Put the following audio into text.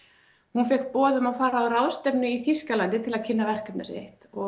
hún fékk boð um að fara á ráðstefnu í Þýskalandi til að kynna verkefnið sitt og